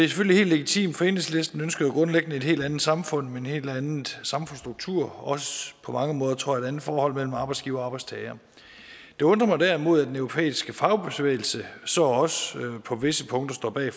selvfølgelig helt legitimt for enhedslisten ønsker jo grundlæggende et helt andet samfund med en helt anden samfundsstruktur også på mange måder tror jeg et andet forhold mellem arbejdsgivere og arbejdstagere det undrer mig derimod at den europæiske fagbevægelse så også på visse punkter står bag